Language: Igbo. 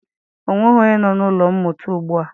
Ọ nweghị onye nọ n'ụlọ mmụta ugbua.